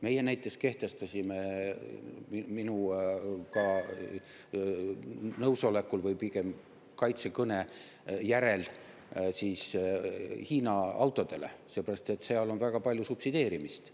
Meie näiteks kehtestasime minu nõusolekul – või pigem kaitsekõne järel – Hiina autodele, sellepärast et seal on väga palju subsideerimist.